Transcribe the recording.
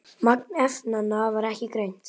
Magn efnanna var ekki greint.